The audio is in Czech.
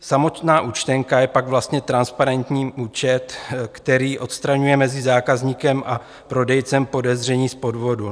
Samotná účtenka je pak vlastně transparentní účet, který odstraňuje mezi zákazníkem a prodejcem podezření z podvodu.